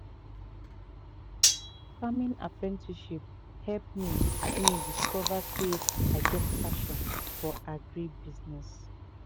farming apprenticeship help me me discover say i get passion for agribusiness